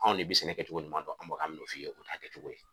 Anw ne bɛ sɛnɛ kɛcogo ɲuman dɔn an bɛ ka mun fɔ i ye o ta kɛcogo ye.